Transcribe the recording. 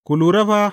Ku lura fa!